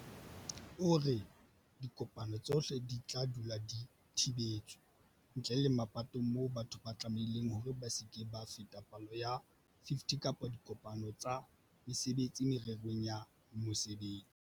O re, Dikopano tsohle di tla dula di thibetswe, ntle le mapatong moo batho ba tlamehileng hore ba se ke ba feta palo ya 50 kapa diko-pano tsa mesebetsi mererong ya mosebetsi.